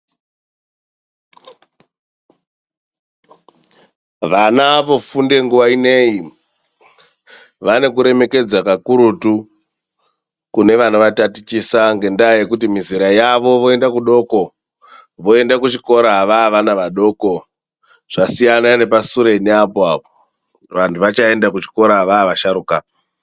Vana vofunde nguwa inei vane kuremekedza kakurutu kune vanovatatichisa, ngendaa yekuti mizera yavo voenda kuchikora vaa vana vadoko. Zvasiyana nepasureni apo apo, vantu vachaende kuchikora vaa vasharuka.